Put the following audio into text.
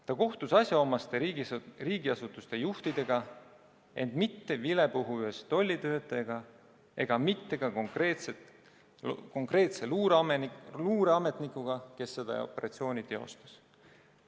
Ta kohtus asjaomaste riigiasutuste juhtidega, ent mitte vilepuhujast tollitöötajaga ega ka konkreetse luureametnikuga, kes seda operatsiooni teostas.